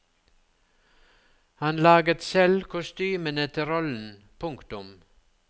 Han laget selv kostymene til rollen. punktum